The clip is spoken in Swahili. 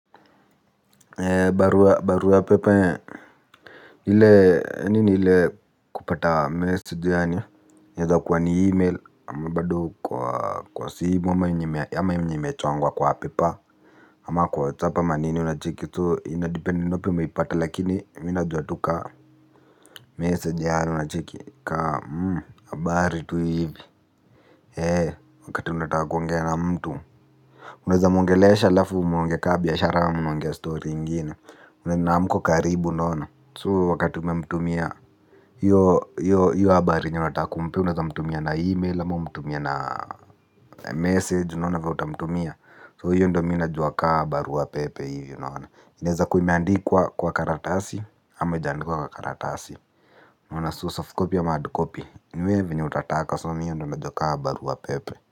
Barua barua pepe ni ile nini ile kupata message yaani, yaeza kuwa ni e-mail ama bado kwa simu ama yenye imechongwa kwa paper ama kwa WhatsApp ama nini unacheki tu inadepend ni wapi umeipata lakini mi najua tu kaa message yaani unacheki, kaa habari tu hivi. Eee wakati unataka kuongea na mtu. Unaweza mwongelesha halafu muongee kaa biashara ama mnaongea story ingine, na hamko karibu unaona. So wakati umemtumia hiyo habari yenye unataka kumpea unaweza mtumia na email ama umtumie na message unaona vile utamtumia, So hiyo ndio mi najua kaa barua pepe hivi unaona. Inaweza kuwa imeandikwa kwa karatasi ama haijaandikwa kwa karatasi. Unaona so soft copy ama hard copy. Ni we vyenye utataka so mi hiyo ndio najua kaa barua pepe.